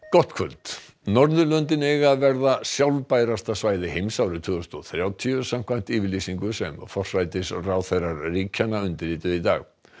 gott kvöld Norðurlöndin eiga að verða sjálfbærasta svæði heims árið tvö þúsund og þrjátíu samkvæmt yfirlýsingu sem forsætisráðherrar ríkjanna undirrituðu í dag